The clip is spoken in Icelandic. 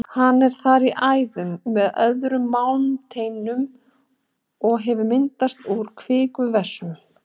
Hann er þar í æðum með öðrum málmsteindum og hefur myndast úr kvikuvessum.